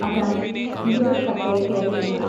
അതാണ് ഇതുവരെ കത്തയയ്ക്കാതിരുന്നത്.